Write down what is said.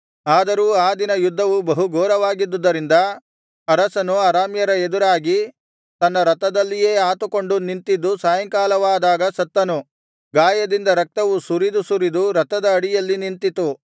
ಆದರೂ ಆ ದಿನ ಯುದ್ಧವು ಬಹು ಘೋರವಾಗಿದ್ದುದರಿಂದ ಅರಸನು ಅರಾಮ್ಯರ ಎದುರಾಗಿ ತನ್ನ ರಥದಲ್ಲಿಯೇ ಆತುಕೊಂಡು ನಿಂತಿದ್ದು ಸಾಯಂಕಾಲವಾದಾಗ ಸತ್ತನು ಗಾಯದಿಂದ ರಕ್ತವು ಸುರಿದು ಸುರಿದು ರಥದ ಅಡಿಯಲ್ಲಿ ನಿಂತಿತು